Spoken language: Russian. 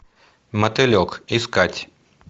мотылек искать